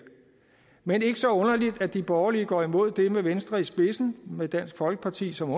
men det er ikke så underligt at de borgerlige går imod det med venstre i spidsen med dansk folkeparti som